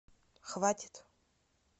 хватит